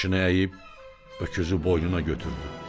Başını əyib öküzü boynuna götürdü.